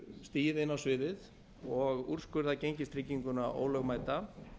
stigið inn á sviðið og úrskurðað gengistrygginguna ólögmæta